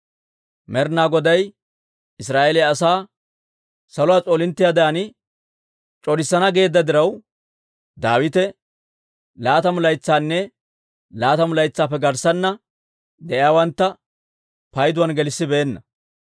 Med'inaa Goday Israa'eeliyaa asaa saluwaa s'oolinttiyaadan c'orissana geedda diraw, Daawite laatamu laytsanne laatamu laytsaappe garssanna de'iyaawantta payduwaan gelissibeenna.